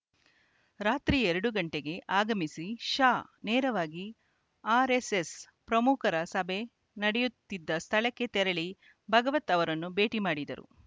ರಾತ್ರಿ ಎರಡು ಗಂಟೆಗೆ ಆಗಮಿಸಿ ಶಾ ನೇರವಾಗಿ ಆರ್‌ಎಸ್‌ಎಸ್‌ ಪ್ರಮುಖರ ಸಭೆ ನಡೆಯುತ್ತಿದ್ದ ಸ್ಥಳಕ್ಕೆ ತೆರಳಿ ಭಾಗವತ್‌ ಅವರನ್ನು ಭೇಟಿ ಮಾಡಿದರು